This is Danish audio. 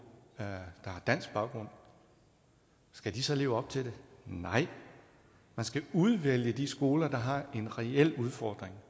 med dansk baggrund skal de så leve op til det nej man skal udvælge de skoler der har en reel udfordring